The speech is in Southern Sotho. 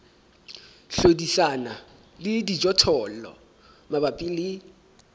hlodisana le dijothollo mabapi le